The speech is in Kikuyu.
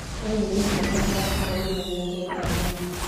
ũyũ nĩ mwanake wakwa ũrĩa nyendete mũno